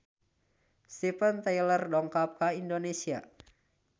Steven Tyler dongkap ka Indonesia